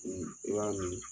i b'a min